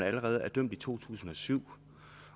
allerede blev dømt i to tusind og syv